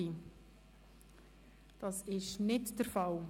– Dies ist nicht der Fall.